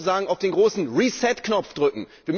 Wir müssen sozusagen auf den großen Reset Knopf drücken.